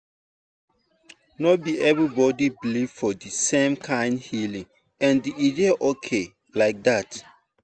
no be everybody believe for the same kind healing and e dey okay like dat.